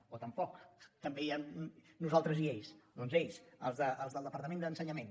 o tampoc també hi ha nosaltres i ells doncs ells els del departament d’ensenyament